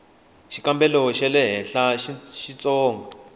xikambelo xa le henhla xitsonga